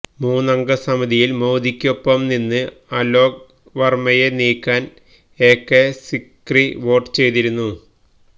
മൂന്നംഗ സമിതിയില് മോദിയിക്കൊപ്പം നിന്ന് അലോക് വര്മ്മയെ നീക്കാന് എകെ സിക്രി വോട്ട് ചെയ്തിരുന്നു